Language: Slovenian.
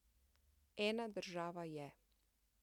Ena država je.